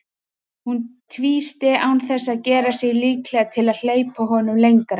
Hún tvísté án þess að gera sig líklega til að hleypa honum lengra.